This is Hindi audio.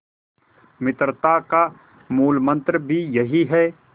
मित्रता का मूलमंत्र भी यही है